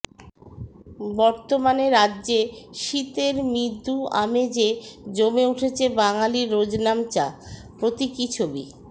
বর্তমানে রাজ্যে শীতের মৃদু আমেজে জমে উঠেছে বাঙালির রোজনামচা প্রতীকী ছবি